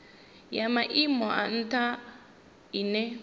ya maimo a ntha ine